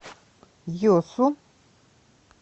йосу